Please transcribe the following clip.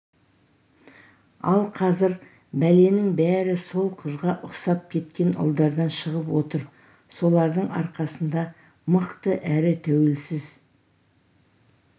ал қазір бәленің бәрі сол қызға ұқсап кеткен ұлдардан шығып отыр солардың арқасында мықты әрі тәуелсіз